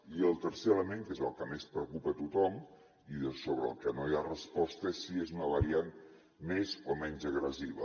i el tercer element que és el que més preocupa tothom i sobre el que no hi ha resposta és si és una variant més o menys agressiva